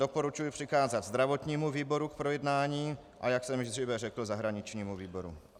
Doporučuji přikázat zdravotnímu výboru k projednání, a jak jsem již dříve řekl, zahraničnímu výboru.